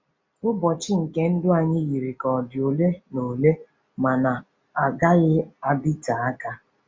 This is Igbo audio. ỤBỌCHỊ nke ndụ anyị yiri ka ọ dị ole na ole ma na-agaghị adịte aka.